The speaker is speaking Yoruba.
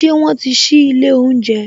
Ṣé wọn ti sí ilé oúnjẹ